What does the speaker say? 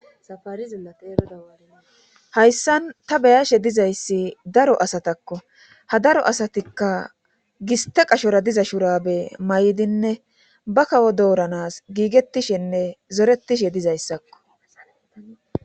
Safarizillata erodawaari hayssan ta beyashe dizayssi daro asatakko ha daro asatikka giste qashora diza shurabe may'dinne ba kawo dooranas giigettishinne zorettishe dizayssakko.